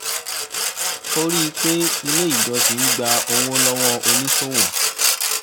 ó rí i pé ilé ìjọsìn ń gbà owó lọ́wọ́ oníṣòwò